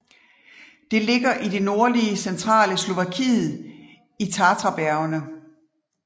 Det ligger i det nordlige centrale Slovakiet i Tatrabjergene